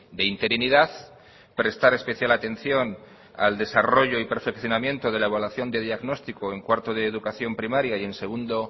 de interinidad prestar especial atención al desarrollo y perfeccionamiento de la evaluación de diagnóstico en cuarto de educación primaria y en segundo